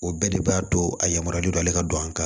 O bɛɛ de b'a to a yamaruyalen don ale ka don an kan